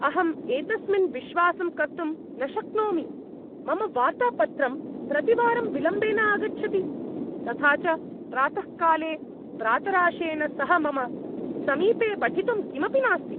अहं एतस्मिन् विश्वासं कर्तुं न शक्नोमि! मम वार्तापत्रं प्रतिवारं विलम्बेन आगच्छति । तथा च प्रातःकाले प्रातराशेन सह मम समीपे पठितुं किमपि नास्ति।